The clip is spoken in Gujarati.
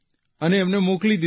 અને એમને મોકલી દીધા